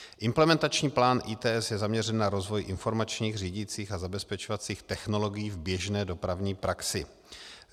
Implementační plán ITS je zaměřen na rozvoj informačních, řídicích a zabezpečovacích technologií v běžné dopravní praxi.